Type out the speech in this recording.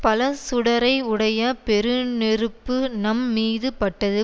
பல சுடரை உடைய பெருநெருப்பு நம் மீது பட்டது